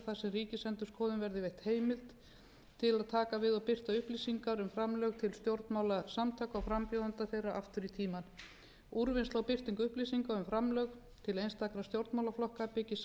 ríkisendurskoðun verði veitt heimild til að taka við og birta upplýsingar um framlög til stjórnmálasamtaka og frambjóðenda þeirra aftur í tímann úrvinnsla og birting upplýsinga um framlög til einstakra stjórnmálaflokka byggist